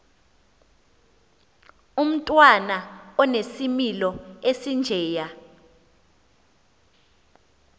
umntwana onesimilo esinjeya